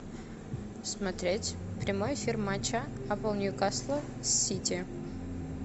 смотреть прямой эфир матча апл ньюкасла с сити